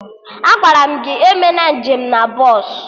Agwaram gị emena nje m na bọsụ!